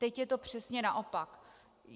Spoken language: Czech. Teď je to přesně naopak.